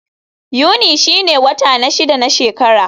Yuni shine wata na shida na shekara.